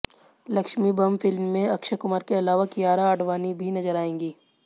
Lakshmi bomb film में अक्षय कुमार के अलावा कियारा आडवाणी भी नजर आएंगी